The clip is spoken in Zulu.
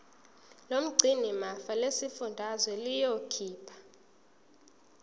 lomgcinimafa lesifundazwe liyokhipha